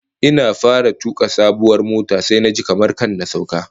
Ina fara tuka sabuwar motar sai naji kamar kar na sauka